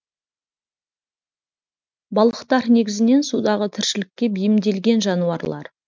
балықтар негізінен судағы тіршілікке бейімделген жануарлар